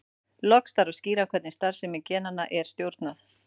Loks þarf að skýra hvernig starfsemi genanna er stjórnað.